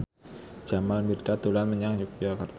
Jamal Mirdad dolan menyang Yogyakarta